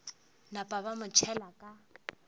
napa ba mo tšhela ka